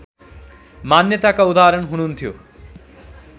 मान्यताका उदाहरण हुनुहुन्थ्यो